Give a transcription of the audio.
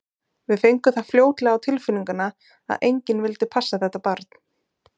Við fengum það fljótlega á tilfinninguna að enginn vildi passa þetta barn.